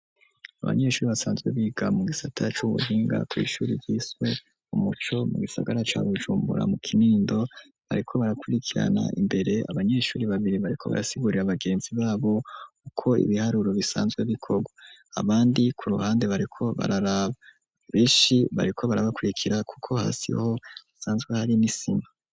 Abanyeshuri, basanzwe biga, mu gisata c’ubuhinga, kw’ishuri ryiswe umuco, mu gisagara ca Bujumbura, mu Kinindo; bariko barakwirikirana, imbere, abanyeshuri babiri, bariko barasigurira, bagenzi babo, uko ibiharuro, bisanzwe bikogwa; abandi ku ruhande, bariko bararaba; benshi, bariko barabakwirikira, kuko hasi ho, hasanzwe hari, n'isima.